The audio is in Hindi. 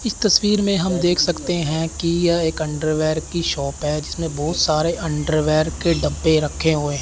इस तस्वीर में हम देख सकते हैं कि यह एक अंडरवियर की शॉप है जिसमें बहुत सारे अंडरवियर के डब्बे रखे हुए--